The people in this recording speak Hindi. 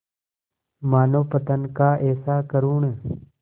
मानवपतन का ऐसा करुण